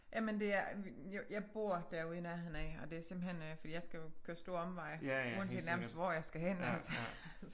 Jamen det er jeg bor derude i nærheden af og det er simpelthen øh fordi jeg skal jo køre stor omvej uanset nærmest hvor jeg skal hen